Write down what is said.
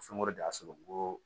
Fɛn wɛrɛ de y'a sɔrɔ n ko